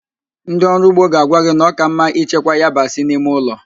Ndị ọrụ ugbo ga-agwa gị na ọ ka mma ichekwa yabasị n'ime ụlọ